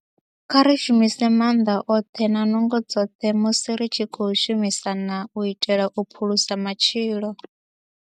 Kha ri shumise maanḓa oṱhe na nungo dzoṱhe musi ri tshi khou shumisana u itela u phulusa matshilo.